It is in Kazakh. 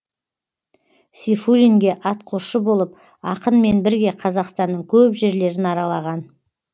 сейфуллинге атқосшы болып ақынмен бірге қазақстанның көп жерлерін аралаған